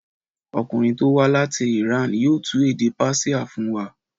Ọkùnrin tó wá láti Iran yóò tú èdè Persia fún wa.